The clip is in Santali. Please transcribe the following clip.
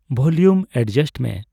ᱵᱷᱚᱞᱤᱭᱩᱢ ᱮᱰᱡᱟᱥᱴ ᱢᱮ